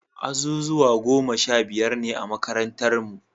Azuzuwa goma sha biyar ne a makarantarnu.